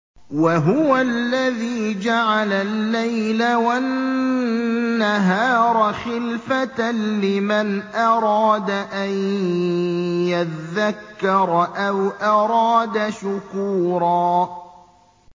وَهُوَ الَّذِي جَعَلَ اللَّيْلَ وَالنَّهَارَ خِلْفَةً لِّمَنْ أَرَادَ أَن يَذَّكَّرَ أَوْ أَرَادَ شُكُورًا